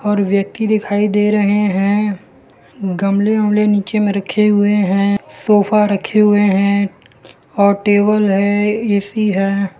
और व्यक्ति दिखाई दे रहे हैं गमले वमले नीचे में रखे हुए हैं सोफा रखे हुए हैं और टेबल है ए_सी है।